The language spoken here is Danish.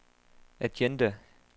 agenda